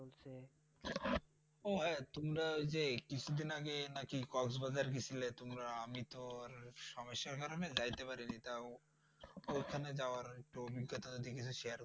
আহ হ্যাঁ তোমরা ঐযে কিছুদিন আগে নাকি কক্সবাজার গিছিলে তোমরা আমিতো আর সামস্যার কারণে যাইতে পারিনি। তাও ঐখানে যাওয়ার একটু অবিজ্ঞতা যদি একটু Share করতে।